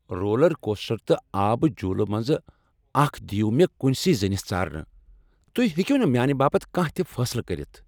Rural coaster تہٕ آبہٕ جولہٕ منٛزٕ اکھ دیو مےٚ کنۍ سٕے زٔنس ژارنہٕ، تہۍ ہیٚکو نہٕ میانہ باپت کانٛہہ تہٕ فیصلہٕ کٔرتھ۔